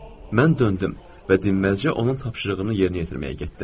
Mən döndüm və dinməzcə onun tapşırığını yerinə yetirməyə getdim.